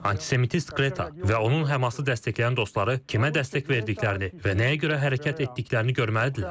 Antisemitist Qreta və onun HƏMAS-ı dəstəkləyən dostları kimə dəstək verdiklərini və nəyə görə hərəkət etdiklərini görməlidirlər.